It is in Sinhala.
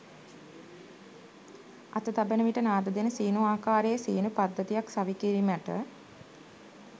අත තබන විට නාද දෙන සීනු ආකාරයේ සීනු පද්ධතියක් සවිකිරීමට